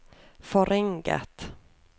forringet